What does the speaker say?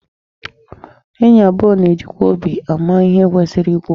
Enyi abụọ na-ejikwa obi ama ihe kwesịrị ikwu.